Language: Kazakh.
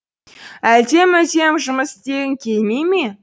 әлде мүлдем жұмыс істегің келмей ме